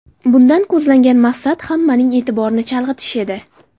Bundan ko‘zlangan maqsad hammaning e’tiborini chalg‘itish edi.